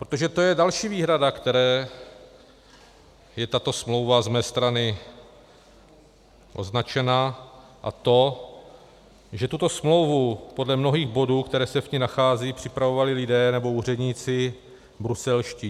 Protože to je další výhrada, které je tato smlouva z mé strany označena, a to že tuto smlouvu podle mnohých bodů, které se v ní nacházejí, připravovali lidé nebo úředníci bruselští.